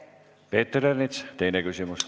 Peeter Ernits, teine küsimus.